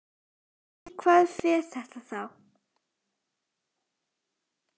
Í hvað fer þetta þá?